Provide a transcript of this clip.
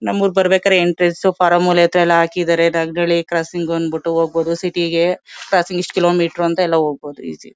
ನಮ್ಮೂರಿಗೆ ಬರ್ಬೇಕಾದ್ರೆ ಎಂಟ್ರೀಸ್ ಫಾರ್ಮುಲೇ ತ್ಎಲ್ಲಾ ಹಾಕಿದ್ದಾರೆ ದಾಸ ಹಳ್ಳಿ ಕ್ರಾಸಿಂಗ್ ಅಂದ್ ಬಂದ್ ಬಿಟ್ಟು ಹೋಗ್ಬಹುದು ಸಿಟಿ ಗೆ. ಕ್ರಾಸಿಂಗ್ ಇಷ್ಷ್ಟು ಕಿಲೋಮೀಟರ್ ಅಂತ ಹೋಗ್ಬಹುದು ಈಸಿ .